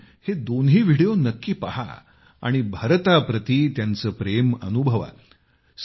आपण हे दोन्ही व्हिडिओ नक्की पाहा आणि भारताप्रति त्यांचे प्रेम अनुभवा